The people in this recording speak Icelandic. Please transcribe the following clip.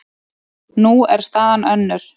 Nú er staðan önnur.